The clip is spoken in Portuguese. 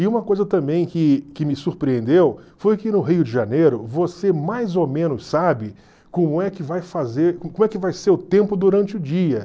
E uma coisa também que que me surpreendeu foi que no Rio de Janeiro você mais ou menos sabe como é que vai fazer como é que vai ser o tempo durante o dia.